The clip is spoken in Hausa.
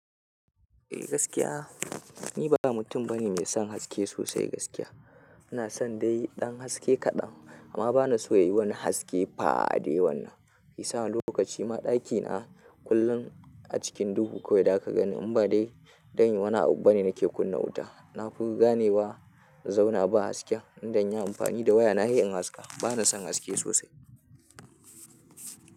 Eh gaskiya, ni ba mutum bane mai son haske sosai gaskiya. Ina son dai ɗan haske kaɗan amma bana so yayi wani haske faa da yawannan. Ya sa ni lokaci ma ɗakina kullum a cikin duhu kawai da ka gani. Im ba dai, zanyi wani abu bane nake kunna wuta. Na fi gane wa in zauna ba hasken in zanyi amfani da waya na sai in haska. Bana son haske sosai.